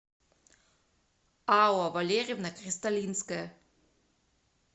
алла валерьевна кристалинская